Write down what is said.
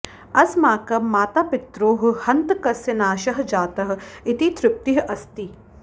अस्माकं मातापित्रोः हन्तकस्य नाशः जातः इति तृप्तिः अस्ति